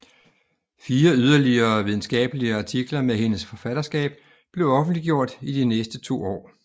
Fire yderligere videnskabelige artikler med hendes forfatterskab blev offentliggjort i de næste to år